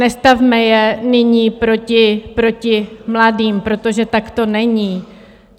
Nestavme je nyní proti mladým, protože tak to není.